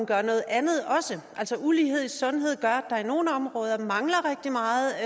gør noget andet altså ulighed i sundhed gør at der i nogle områder mangler rigtig meget